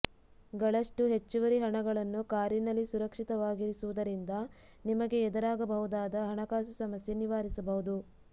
ಗಳಷ್ಟು ಹೆಚ್ಚುವರಿ ಹಣಗಳನ್ನು ಕಾರಿನಲ್ಲಿ ಸುರಕ್ಷಿತವಾಗಿರಿಸುವುದರಿಂದ ನಿಮಗೆ ಎದುರಾಗಬಹುದಾದ ಹಣಕಾಸು ಸಮಸ್ಯೆ ನಿವಾರಿಸಬಹುದು